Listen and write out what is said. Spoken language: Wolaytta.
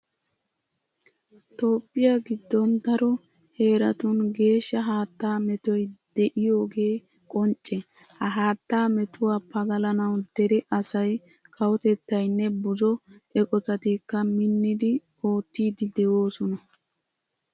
Toophphiya giddon daro heeratun geeshsha haattaa metoy de'iyogee qoncce. Ha haattaa metuwa pagalanawu dere asay kawotettaynne buzo eqotatikka minnidi oottiiddi de'oosona